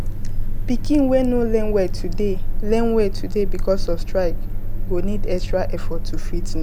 pikin wey no learn well today learn well today becuase of strike go need extra effort to fit know